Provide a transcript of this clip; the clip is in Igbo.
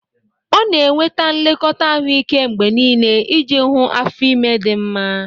Ọ na-enweta nlekọta ahụike mgbe niile iji hụ afọ ime di nma.